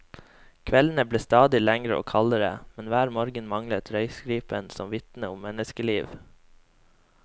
Kveldene ble stadig lengre og kaldere, men hver morgen manglet røykstripen som vitnet om menneskeliv.